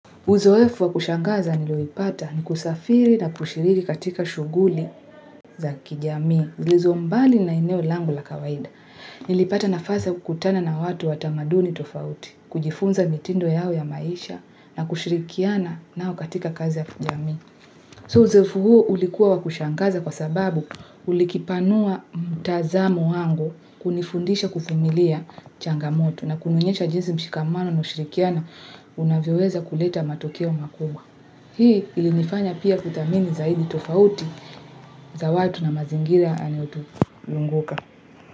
Uzoefu wa kushangaza nilioupata ni kusafiri na kushiriki katika shughuli za kijamii. Zilizombali na eneo langu la kawaida. Nilipata nafasi ya kukutana na watu watamaduni tofauti. Kujifunza mitindo yao ya maisha na kushirikiana nao katika kazi ya kijamii. So uzoefu huo ulikuwa wa kushangaza kwa sababu ulikipanua mtazamo wangu kunifundisha kuvumilia changamoto. Nanionesha jinsi mshikamano na ushirikiana unavyoweza kuleta matokeo makubwa. Hii ilinifanya pia kudhamini zaidi tofauti za watu na mazingira yanayotuzunguka.